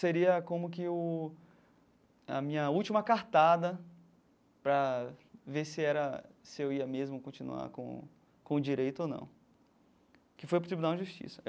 Seria como que o a minha última cartada para ver se era se eu ia mesmo continuar com com direito ou não, que foi para o Tribunal de Justiça.